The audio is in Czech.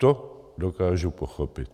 To dokážu pochopit.